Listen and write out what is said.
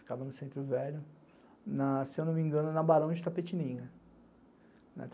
Ficava no Centro Velho, se eu não me engano, na Barão de Tapetininga.